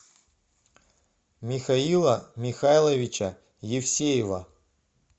михаила михайловича евсеева